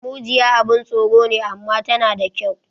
Mujiya abun tsoro ne, amma tana da kyau